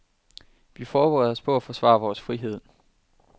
Vi forbereder os på at forsvare vores frihed.